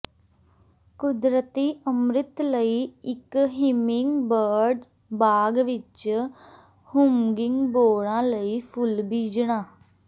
ਕੁਦਰਤੀ ਅੰਮ੍ਰਿਤ ਲਈ ਇਕ ਹਿਮਿੰਗਬਰਡ ਬਾਗ਼ ਵਿਚ ਹੂੰਿੰਗਬੋਰਡਾਂ ਲਈ ਫੁੱਲ ਬੀਜਣਾ